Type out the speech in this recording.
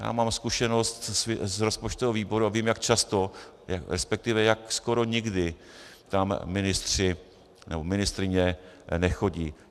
Já mám zkušenost z rozpočtového výboru a vím, jak často, respektive jak skoro nikdy tam ministři nebo ministryně nechodí.